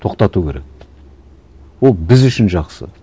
тоқтату керек ол біз үшін жақсы